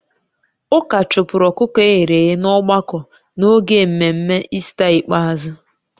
Ụka chụpụrụ ọkụkọ e ghere eghe n'ọgbakọ n'oge mmemme Ista ikpeazụ